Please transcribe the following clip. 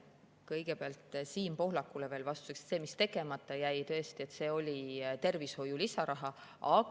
Kõigepealt Siim Pohlakule veel vastuseks, et see, mis tõesti tegemata jäi, oli tervishoidu lisaraha saamine.